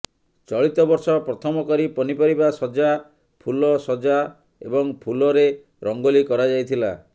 ଚଳିତବର୍ଷ ପ୍ରଥମକରି ପନିପରିବା ସଜ୍ଜା ଫୁଲ ସଜ୍ଜା ଏବଂ ଫୁଲରେ ରଙ୍ଗୋଲୀ କରାଯାଇଥିଲା